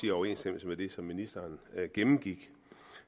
i overensstemmelse med det som ministeren gennemgik